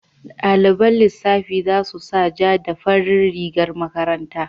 Daliban lissafi za su sa ja da farin rigar makaranta.